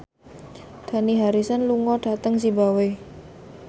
Dani Harrison lunga dhateng zimbabwe